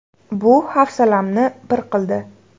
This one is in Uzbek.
Bu hafsalamni pir qildi”.